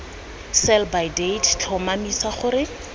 sell by date tlhomamisa gore